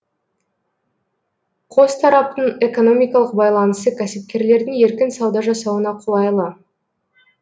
қос тараптың экономикалық байланысы кәсіпкерлердің еркін сауда жасауына қолайлы